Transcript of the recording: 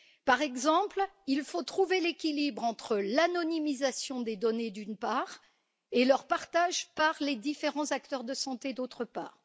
Par exemple, il faut trouver l'équilibre entre l'anonymisation des données, d'une part, et leur partage par les différents acteurs de santé, d'autre part.